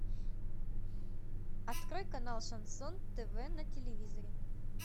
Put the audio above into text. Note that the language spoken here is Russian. открой канал шансон тв на телевизоре